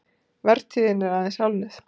Vertíðin er aðeins hálfnuð